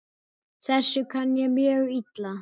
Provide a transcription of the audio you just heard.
Þessu kann ég mjög illa.